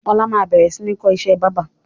Ọlá máa bẹ̀rẹ̀ sini kọ́ ìṣẹ́ báábà